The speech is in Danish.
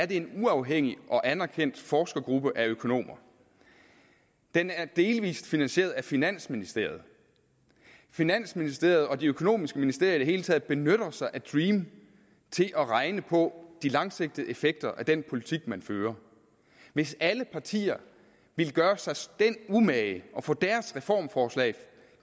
det er en uafhængig og anerkendt forskergruppe bestående af økonomer den er delvis finansieret af finansministeriet finansministeriet og de økonomiske ministerier i det hele taget benytter sig af dream til at regne på de langsigtede effekter af den politik man fører hvis alle partier ville gøre sig den umage at få deres reformforslag